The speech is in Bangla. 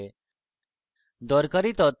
দরকারী তথ্য রূপে